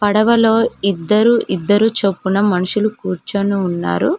పడవ లో ఇద్దరూ ఇద్దరూ చొప్పున మనుషులు కూర్చొని ఉన్నారు.